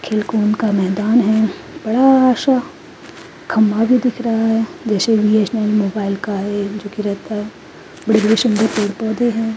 खेलकूद का मैदान है बड़ा-सा खंबा भी दिख रहा है जैसे बी. एस. नल मोबाइल का है जो कि रहता है बड़े-बड़े सुंदर पेड़-पौधे हैं।